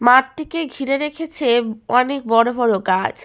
মাঠটিকে ঘিরে রেখেছে অনেক বড় বড় গাছ।